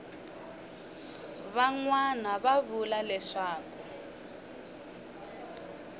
van wana va vula leswaku